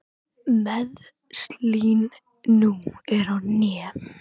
Meiðslin nú eru á hné.